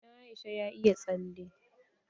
Ɗan Aisha ya iya tsale.